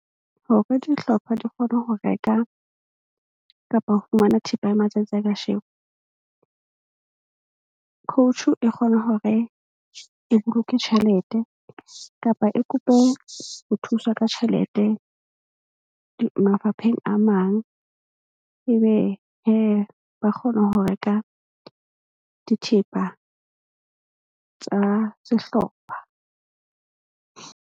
Hore dihlopha di kgone ho reka kapa ho fumana thepa ya matsatsi a kasheno, coach-u e kgone hore e boloke tjhelete kapa e kope ho thuswa ka tjhelete mafapheng a mang, ebe ba kgona ho reka dithepa tsa sehlopha.